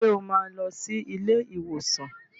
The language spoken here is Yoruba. Ṣé o máa lọ sí ilé ìwòsàn